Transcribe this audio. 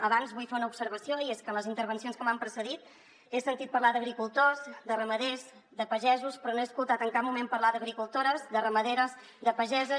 abans vull fer una observació i és que en les in·tervencions que m’han precedit he sentit parlar d’agricultors de ramaders de pagesos però no he escoltat en cap moment parlar d’agricultores de ramaderes de pageses